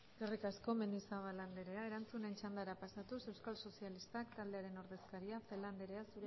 eskerrik asko mendizabal andrea erantzunen txandara pasatuz euskal sozialistak taldearen ordezkaria celaá andrea